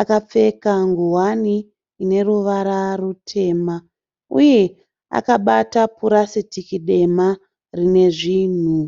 Akapfeka nguwani ine ruvara rutema uye akabata purasitiki dema rine zvinhu.